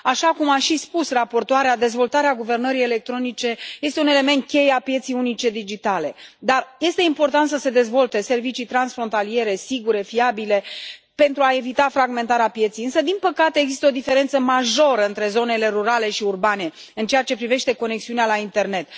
Așa cum a și spus raportoarea, dezvoltarea guvernării electronice este un element cheie al pieței unice digitale, dar este important să se dezvolte servicii transfrontaliere sigure, fiabile pentru a evita fragmentarea pieței. Însă, din păcate, există o diferență majoră între zonele rurale și urbane în ceea ce privește conexiunea la internet.